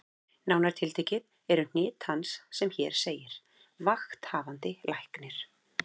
Nánar tiltekið eru hnit hans sem hér segir: Vakthafandi Læknir